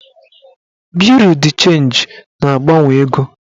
Buriu d chenji na-agbanwe ego